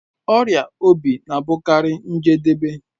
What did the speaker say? Ọrịa obi na-abụkarị njedebe